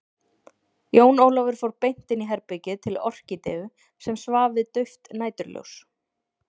Jón Ólafur fór beint inn í herbergið til Orkídeu sem svaf við dauft næturljós.